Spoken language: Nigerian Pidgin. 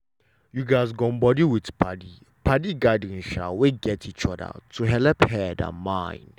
you gatz gum body with padi padi gathering um wey gat each other to helep head and mind.